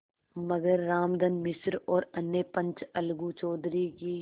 मगर रामधन मिश्र और अन्य पंच अलगू चौधरी की